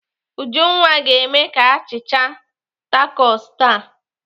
Ujunwa ga-eme a achịcha takos taa.